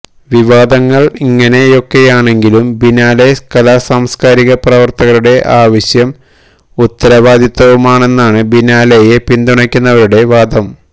വിവാദങ്ങള് ഇങ്ങനെയൊക്കെയാണെങ്കിലും ബിനാലെ കലാസാംസ്കാരിക പ്രവര്ത്തകരുടെ ആവശ്യവും ഉത്തരവാദിത്തവുമാണെന്നാണ് ബിനാലെയെ പിന്തുണയ്ക്കുന്നവരുടെ വാദം